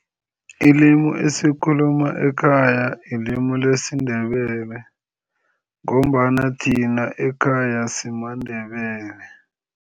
Ilimu esilikhuluma ekhaya ilimu lesiNdebele ngombana thina ekhaya simaNdebele.